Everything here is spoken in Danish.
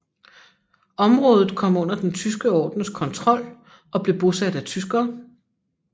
Området kom under Den tyske ordens kontrol og blev bosat af tyskere